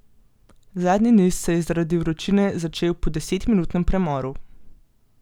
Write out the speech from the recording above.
Zadnji niz se je zaradi vročine začel po desetminutnem premoru.